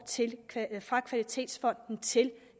fra kvalitetsfonden til